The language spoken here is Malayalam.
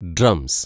ഡ്രംസ്